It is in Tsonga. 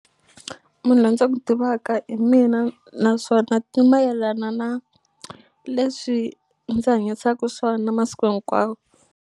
Munhu loyi ndzi n'wu tivaka hi mina naswona ti mayelana na leswi ndzi hanyisaku swona masiku hinkwawo.